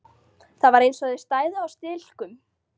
Það var eins og þau stæðu á stilkum.